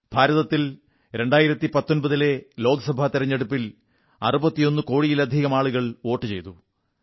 ഭാരതത്തിൽ 2019ലെ ലോകസഭാ തിരഞ്ഞെടുപ്പിൽ 61 കോടിയിലധികം ആളുകൾ വോട്ടു ചെയ്തു